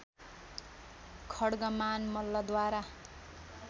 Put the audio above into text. खड्गमान मल्लद्वारा